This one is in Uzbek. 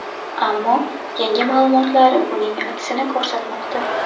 Ammo yangi ma’lumotlar buning aksini ko‘rsatmoqda.